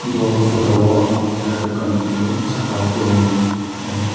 bo photo o ang keha dokan nogphiyo saka o kebo.